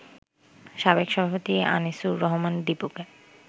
সাবেক সভাপতি আনিছুর রহমান দিপুকে